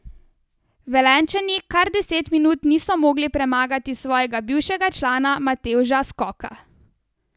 Velenjčani kar deset minut niso mogli premagati svojega bivšega člana Matevža Skoka.